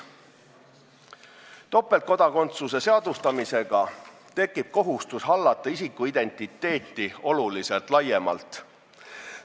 Topeltkodakondsuse seadustamisega tekib kohustus hallata isiku identiteeti oluliselt laiemalt.